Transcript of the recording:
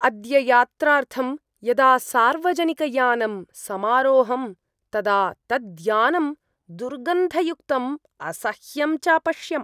अद्य यात्रार्थं यदा सार्वजनिकयानम् समारोहम् तदा तद्यानं दुर्गन्धयुक्तं असह्यं च अपश्यम्।